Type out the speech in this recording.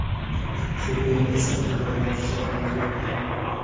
Ikki o‘yin esa durang natija bilan tugagan.